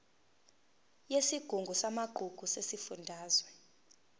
yesigungu samagugu sesifundazwe